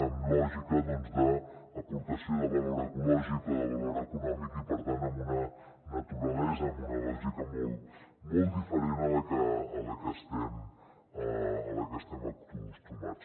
amb lògica doncs d’aportació de valor ecològic o de valor econòmic i per tant amb una naturalesa amb una lògica molt diferent a la que estem acostumats